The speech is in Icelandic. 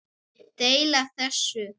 Deila þessu